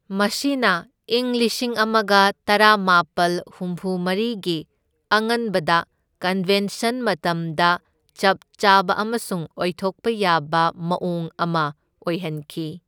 ꯃꯁꯤꯅ ꯏꯪ ꯂꯤꯁꯤꯡ ꯑꯃꯒ ꯇꯔꯥꯃꯥꯄꯜ ꯍꯨꯝꯐꯨ ꯃꯔꯤꯒꯤ ꯑꯉꯟꯕꯗ ꯀꯟꯚꯦꯟꯁꯟ ꯃꯇꯝꯗ ꯆꯞ ꯆꯥꯕ ꯑꯃꯁꯨꯡ ꯑꯣꯏꯊꯣꯛꯄ ꯌꯥꯕ ꯃꯑꯣꯡ ꯑꯃ ꯑꯣꯏꯍꯟꯈꯤ꯫